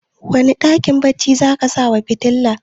wane dakin baccin za a sawa fitila